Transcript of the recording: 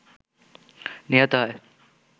নিহত হয়